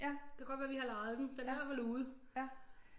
Det kan godt være vi har lejet den den er i hvert fald ude